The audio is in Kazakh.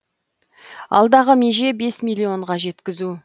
алдағы меже бес миллионға жеткізу